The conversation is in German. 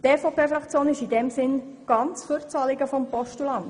Die EVP-Fraktion ist in diesem Sinne ganz für das Anliegen des Postulanten.